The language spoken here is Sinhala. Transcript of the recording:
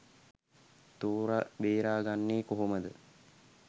තෝර බේරගන්නෙ කොහොමද?